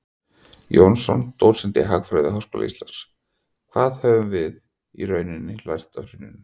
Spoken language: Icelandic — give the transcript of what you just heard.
Jónsson, dósent í hagfræði við Háskóla Íslands: Hvað höfum við í rauninni lært af hruninu?